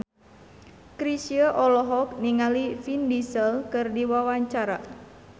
Chrisye olohok ningali Vin Diesel keur diwawancara